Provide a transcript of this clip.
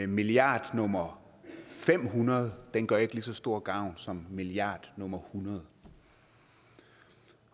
milliard nummer fem hundrede gør ikke lige så stor gavn som milliard nummer hundrede